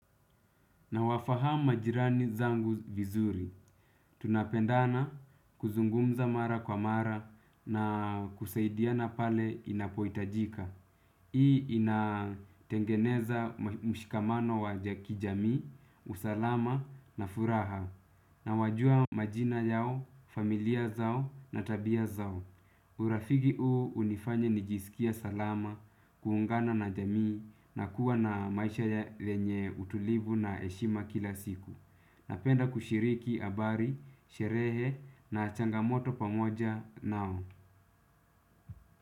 Nawafahamu majirani zangu vizuri. Tunapendana kuzungumza mara kwa mara na kusaidiana pale inapohitajika. Hii inatengeneza mshikamano wa kijamii, usalama na furaha nawajua majina yao, familia zao na tabia zao. Urafiki huo hunifanya nijisikie salama, kuungana na jamii na kuwa na maisha lenye utulivu na heshima kila siku. Napenda kushiriki habari, sherehe na changamoto pamoja nao.